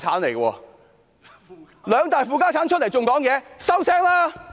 兩大"負家產"竟然還敢發言？